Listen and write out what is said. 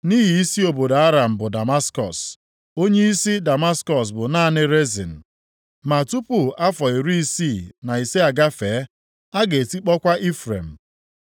Nʼihi isi obodo Aram bụ Damaskọs. + 7:8 \+xt 2Sa 8:6\+xt* Onyeisi Damaskọs bụ naanị Rezin. Ma tupu afọ iri isii na ise agafee a ga-etikpọkwa Ifrem.